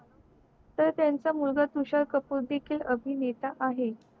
तर त्याचा मुलगा तुषार कपूर देखील अभिनेता आहे